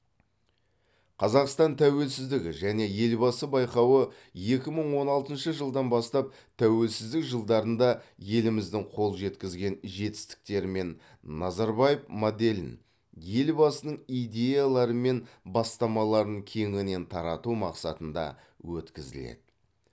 қазақстан тәуелсіздігі және елбасы байқауы екі мың он алтыншы жылдан бастап тәуелсіздік жылдарында еліміздің қол жеткізген жетістіктері мен назарбаев моделін елбасының идеялары мен бастамаларын кеңінен тарату мақсатында өткізіледі